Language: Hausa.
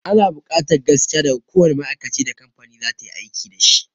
Ana buƙatar gaskiya daga kowanne ma'aikacin da kamfani za ta yi aiki dashi